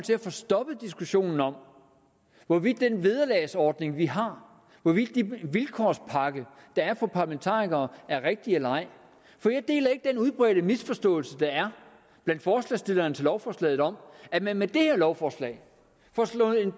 få stoppet diskussionen om hvorvidt den vederlagsordning vi har hvorvidt den vilkårspakke der er for parlamentarikere er rigtig eller ej for jeg deler ikke den udbredte misforståelse der er blandt forslagsstillerne til lovforslaget om at man med det her lovforslag får slået en